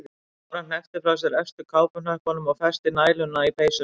Bára hneppti frá efstu kápuhnöppunum og festi næluna í peysuna.